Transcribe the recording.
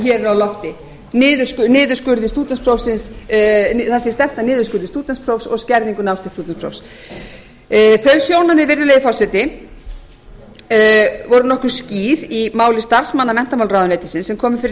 hér er á lofti að það sé stefnt að niðurskurði stúdentsprófs og skerðingu náms til stúdentsprófs þau sjónarmið virðulegi forseti voru nokkuð skýr í máli starfsmanna menntamálaráðuneytisins sem komu fyrir